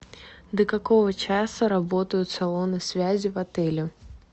до какого часа работают салоны связи в отеле